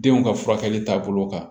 Denw ka furakɛli taabolo kan